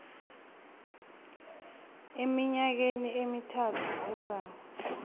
eminyakeni emithathu ezako